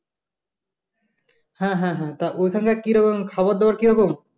হ্যা হ্যা হ্যা তা ওখানে কিরকম খাবার দাবার কিরকম?